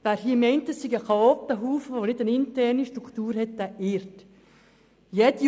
Wer denkt, dies seien Chaotenhaufen ohne interne Struktur, der irrt sich.